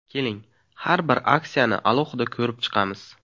Keling, har bir aksiyani alohida ko‘rib chiqamiz.